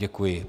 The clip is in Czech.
Děkuji.